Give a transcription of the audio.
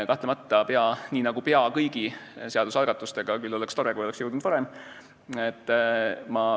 Kahtlemata, nii nagu pea kõigi seadusalgatustega – küll oleks tore, kui oleks jõudnud varem.